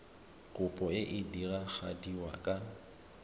kopo e e diragadiwa ka